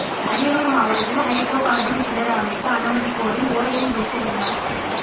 அரியலூர் மாவட்டத்தில் hydrocarbon கிணறு அமைக்க அனுமதி கோரி ஓஎன்ஜிசி விண்ணப்பம்